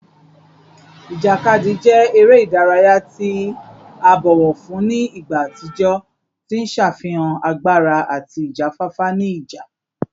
Ijakadi jẹ ere idaraya ti a bọwọ fun ni igba atijọ, ti n ṣafihan agbara ati ijafafa ni ija